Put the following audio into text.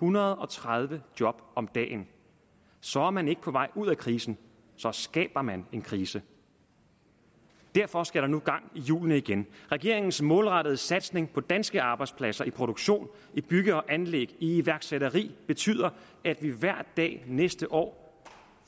hundrede og tredive job om dagen så er man ikke på vej ud af krisen så skaber man en krise derfor skal der nu gang i hjulene igen regeringens målrettede satsning på danske arbejdspladser i produktion i bygge og anlæg i iværksætteri betyder at vi hver dag næste år